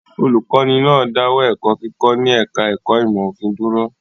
Olùkọ́ní náà dáwọ́ ẹ̀kọ́ kíkọ́ ní ẹ̀ka-ẹ̀kọ́ ìmọ̀-òfin dúró?